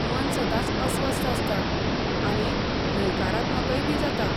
मन सदांच अस्वस्थ आसता आनी न्हयकारात्मकयबी जाता.